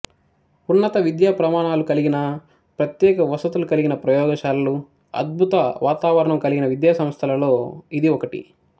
ఉన్నత విద్యాప్రమాణాలు కలిగి ప్రత్యేక వసతులు కలిగి ప్రయోగ శాలలు అద్భుత వాతావరణం కలిగిన విద్యాసంస్థలలో ఇది ఒకటి